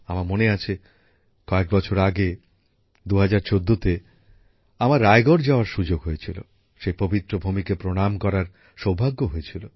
আমার মনে আছে কয়েক বছর আগে ২০১৪ তে আমার রায়গড় যাওয়ার সু্যোগ হয়েছিল সেই পবিত্র ভূমিকে প্রণাম করার সৌভাগ্য হয়েছিল